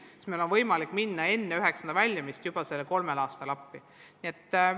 Siis on meil võimalik minna talle appi enne 9. klassi lõpetamist, juba sellele eelneval kolmel aastal.